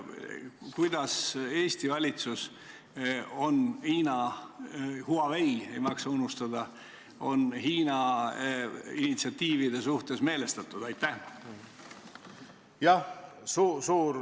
Kuidas on Eesti valitsus – Hiina Huaweid ei maksa unustada – Hiina initsiatiivide suhtes meelestatud?